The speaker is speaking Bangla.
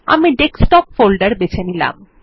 আমি ডেস্কটপ ফোল্ডারটি বেছে নিলাম